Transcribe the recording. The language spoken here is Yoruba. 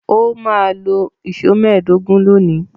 Ó máa lo ìṣó mẹ́ẹ̀dógún lónìí.